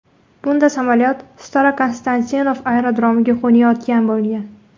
Bunda samolyot Starokonstantinov aerodromiga qo‘nayotgan bo‘lgan.